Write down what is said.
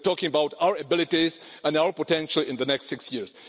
we are talking about our abilities and our potential in the next six years.